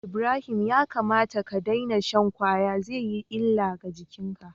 Ibrahim ya kamata ka daina shan kwaya zai yi illa ga jikinka